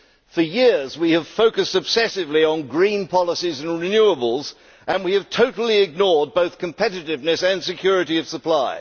For years we have focused obsessively on green policies and renewables and we have totally ignored both competitiveness and security of supply.